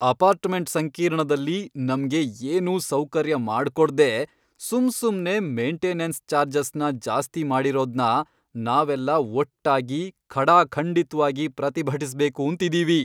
Apartment ಸಂಕೀರ್ಣದಲ್ಲಿ ನಮ್ಗೆ ಏನೂ ಸೌಕರ್ಯ ಮಾಡ್ಕೊಡ್ದೇ ಸುಮ್ಸುಮ್ನೇ ಮೇಂಟೆನೆನ್ಸ್ ಚಾರ್ಜಸ್ನ ಜಾಸ್ತಿ ಮಾಡಿರೋದ್ನ ನಾವೆಲ್ಲ ಒಟ್ಟಾಗಿ ಖಡಾಖಂಡಿತ್ವಾಗಿ ಪ್ರತಿಭಟಿಸ್ಬೇಕೂಂತಿದೀವಿ.